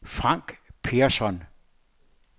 Frank Persson